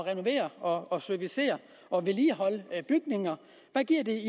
at renovere og og servicere og vedligeholde bygninger hvad giver det